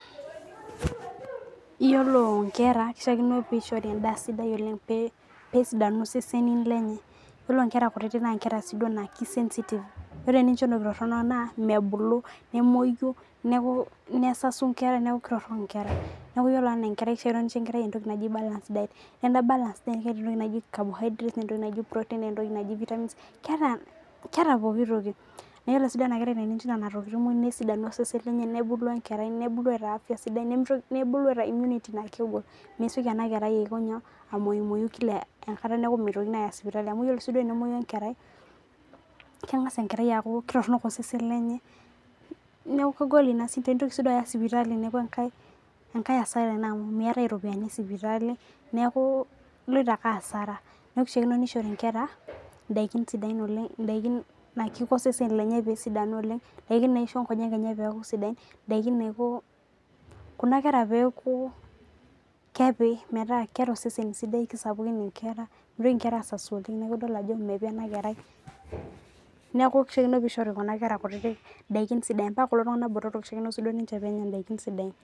iyiolo nkera ishaakino pee ishori edaa sidia oleng, pee esidanu seseni lennye, iyiolo nkera kutitik, naa nkera siiduo naa ki sensitive iyiolo tenincho entoki torono naa mebulu, nemuoii, nesasu nkera neeku kitorok nkeera. neeku anaa nkerai kifaa nincho balance diet. iyiolo balance diet, neeta entoki naji carbohydrates, neeta entoki naji proteins, neeta entoki naji vitamins, keeta pooki toki naa ore siiduo ena kerai, tenincho nena tokitiin muj nesidanu osesen lenye nebulu enerai, nebulu eeta afia sidai nebulu eeta immunity naa kegol. mesioki ena kerai aiko nyoo amuoi kila enkata neeku mitokini aaya sipitali. amu iyiolo siduoo enemuoi enkerai, kengas enkerai aaku kitorono osesen lenye. neeku kegol ina shida, nitoki sii duo ayau sipitali neeku enkae asara ena amu meetae iropiyiani esipitali. neeku iloito ake asaara. neeku kishaakio nishori. nkera nadikin sidain oleng. idaikin, naa kiko osesen lenye pee esidanu oleng. idaikin naisho nkonyek enye peeku sidain. idaikin naiko kuna kera peeku, kepi, metaa keeta osesen sidai, kisapukin nkeraa. mitoki nkera aasasu oleng. neku idol ajo mepi ena kerai, neeku kishaakino pee ishori kuna kera kutitik idaikin sidain. mpaka kulo tungana botorok kishaakino sii duo peenya daikin sidain.